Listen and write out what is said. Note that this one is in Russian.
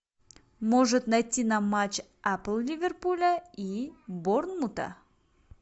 может найти нам матч апл ливерпуля и борнмута